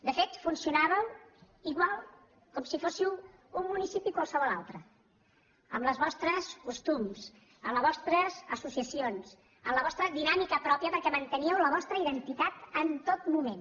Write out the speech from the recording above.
de fet funcionàveu igual com si fóssiu un municipi com qualsevol altre amb els vostres costums les vostres associacions amb la vostra dinàmica pròpia perquè manteníeu la vostra identitat en tot moment